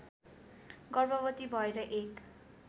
गर्भवती भएर एक